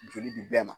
Joli di bɛɛ ma